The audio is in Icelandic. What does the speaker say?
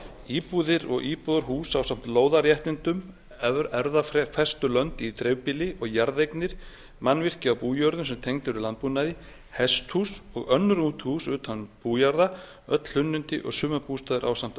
íbúðir og íbúðarhús ásamt lóðarréttindum erfðafestulönd í dreifbýli og jarðeignir mannvirki á bújörðum sem tengd eru landbúnaði hesthús og önnur útihús utan bújarða öll hlunnindi og sumarbústaðir ásamt